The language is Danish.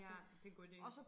Ja det en god ide